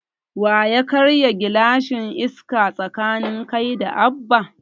Waya karya gilashin Iska tsakanin kai da Abba?